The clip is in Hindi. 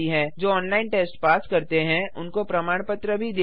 जो ऑनलाइन टेस्ट पास करते हैं उन्हें प्रमाण पत्र भी देते हैं